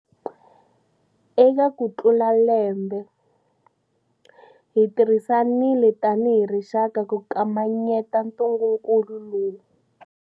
Eka kutlula lembe, hi tirhisanile tanihi rixaka ku kamanyeta ntungukulu lowu.